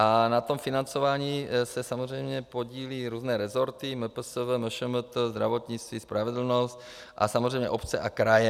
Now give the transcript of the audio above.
A na tom financování se samozřejmě podílí různé resorty, MPSV, MŠMT, zdravotnictví, spravedlnost a samozřejmě obce a kraje.